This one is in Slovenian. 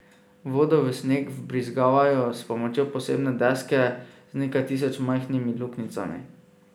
Vodo v sneg vbrizgavajo s pomočjo posebne deske z nekaj tisoč majhnimi luknjicami.